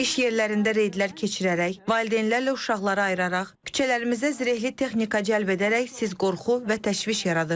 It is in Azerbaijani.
İş yerlərində reydlər keçirərək, valideynlərlə uşaqları ayıraraq, küçələrimizə zirehli texnika cəlb edərək siz qorxu və təşviş yaradırsınız.